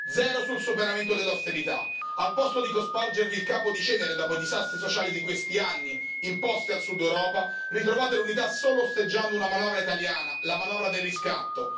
Zero sul superamento dell'austerità. Al posto di cospargervi il capo di cenere dopo i disastri sociali di questi anni imposti al Sud Europa, ritrovate l'unità solo osteggiando una manovra italiana, la manovra del riscatto